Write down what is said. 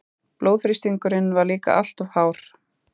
Blóðþrýstingurinn var líka alltof hár.